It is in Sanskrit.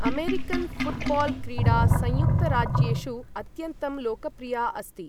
अमेरिकन् फुटबॉल क्रीडा संयुक्त राज्येषु अत्यन्तं लोकप्रिया अस्ति।